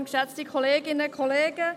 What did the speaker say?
Frau Imboden, Sie haben das Wort.